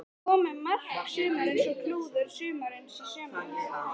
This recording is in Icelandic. Komu mark sumarsins og klúður sumarsins í sömu umferðinni?